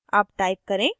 अब type करें